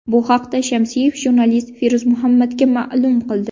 Bu haqda Shamsiyev jurnalist Feruz Muhammadga ma’lum qildi.